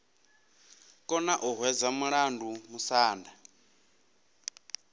kona u hwedza mulandu musanda